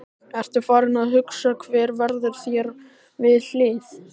Ertu farinn að hugsa hver verður þér við hlið?